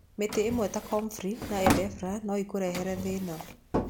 Mĩmera ĩmwe ta comfrey na ephedra no ĩkũrehere thĩna.